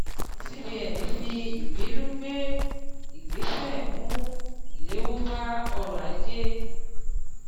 cbn fi ìbínú gbé ìgbésẹ̀ mú ìléwó bá ọrọ̀ ajé.